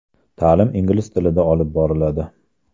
Ta’lim ingliz tilida olib boriladi.